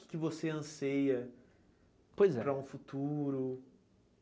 O que que você anseia, pois é, para um futuro?